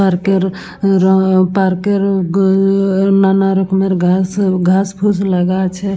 Park -এর র park -এর হমম হুম আ নানা রকমের ঘাস ঘাস ফুস লাগা আছে।